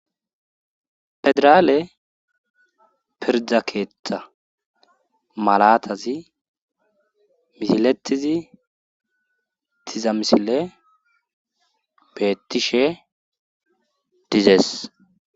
pedraale pirda keeta malatazi misiletiz diiza misile beettishe dizees